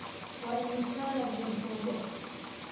Waa imisa leben dhoobo ah?